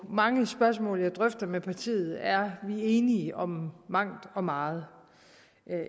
mange spørgsmål jeg drøfter med partiet er vi enige om mangt og meget